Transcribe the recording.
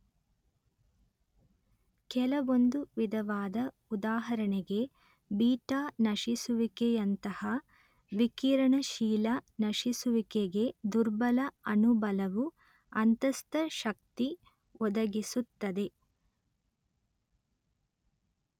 ಕೆಲವೊಂದು ವಿಧವಾದ ಉದಾಹರಣೆಗೆ ಬೀಟಾ ನಶಿಸುವಿಕೆಯಂತಹ ವಿಕಿರಣಶೀಲ ನಶಿಸುವಿಕೆಗೆ ದುರ್ಬಲ ಅಣು ಬಲವು ಅಂತಸ್ಥಶಕ್ತಿ ಒದಗಿಸುತ್ತದೆ